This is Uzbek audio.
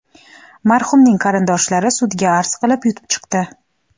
Marhumning qarindoshlari sudga arz qilib, yutib chiqdi.